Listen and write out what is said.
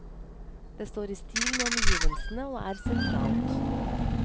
Det står i stil med omgivelsene og er sentralt.